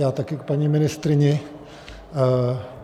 Já také k paní ministryni.